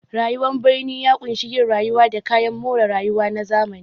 Rayuwar birni ya ƙunshi yin rayuwa da kayan more rayuwa na zamani.